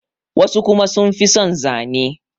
wasu kuma sun fi son Zane